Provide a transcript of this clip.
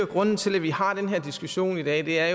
grunden til at vi har den her diskussion i dag er